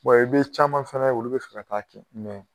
i bɛ caman fana olu bɛ fɛ ka taaa kɛ